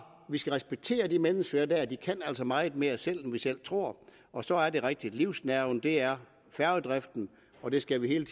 vi skal respektere de mennesker der for de kan altså meget mere selv end vi selv tror og så er det rigtigt at livsnerven er færgedriften og det skal vi hele